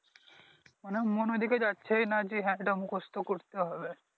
মানে মন ঐদিকে যাচ্ছেই নাহ যে হ্যাঁ এইটা মুখস্ত করতে হবে